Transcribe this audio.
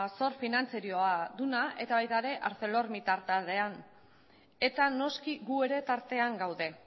zor finantzieroa duena eta baita ere arcelormittal taldean eta noski gu ere tartean gaude